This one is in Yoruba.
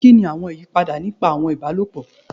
Kini awọn iyipada nipa awọn ibalopọ?